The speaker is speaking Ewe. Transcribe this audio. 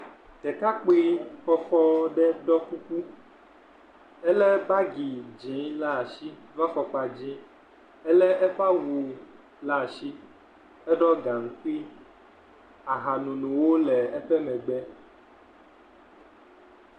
Ɖekakpoe kɔkɔ aɖe ɖɔ kuku elé bagi dzɛ̃ la asi kple fɔkpa dz, elé eƒe awu ɖe asi, eɖɔ gaŋkui, ahanonowo le eƒe megbe.